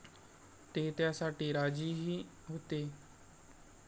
ते त्यासाठी राजीही होते.